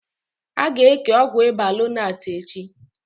Aga eke Ọgwụ ịba lonart echi